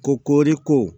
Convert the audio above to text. Ko kori ko